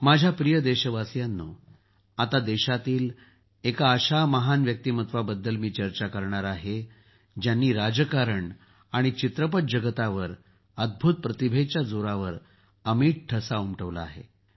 माझ्या प्रिय देशवासियांनो आता देशातील एका अशा महान व्यक्तीमत्वाबद्दल चर्चा करणार आहे ज्यांनी राजकारण आणि चित्रपट जगतावर अद्भुत प्रतिभेच्या जोरावर अमीट ठसा उमटवला आहे